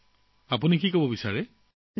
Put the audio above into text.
এই বিষয়ে আপোনালোকে কি কব বিচাৰে